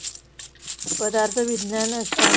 पदार्थ विज्ञान असत.